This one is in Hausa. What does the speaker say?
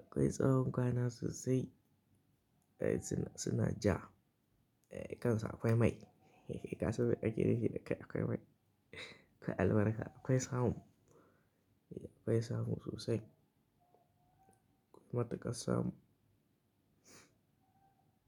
Akwai tsawon kwana sosai. Ai suna, suna ja. E, kan su akwai mai. Kasan me ake nufi da kai akwai mai. Akwai albarka akwai samu. E, akwai samu sosai. Matuƙar samu.